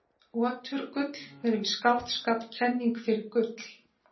oturgjöld eru í skáldskap kenning fyrir gull